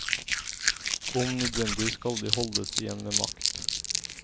Om nødvendig skal de holdes igjen med makt.